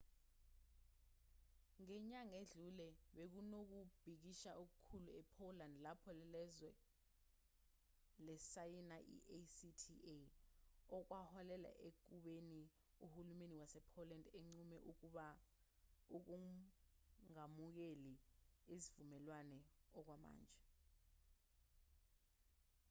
ngenyanga edlule bekunokubhikisha okukhulu e-poland lapho lelozwe lisayina i-acta okwaholela ekubeni uhulumeni wase-poland unqume ukungamukeli isivumelwano okwamanje